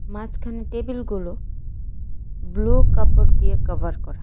মাসখানে টেবিলগুলো ব্লু কাপড় দিয়ে কাভার করা।